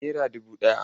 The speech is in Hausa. Naira dubu ɗaya.